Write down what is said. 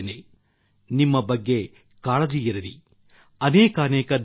ನಿಮ್ಮ ಬಗ್ಗೆ ನಿಮಗೆ ಕಾಳಜಿ ಇರಲಿ ಅನೇಕಾನೇಕ ಧನ್ಯವಾದಗಳು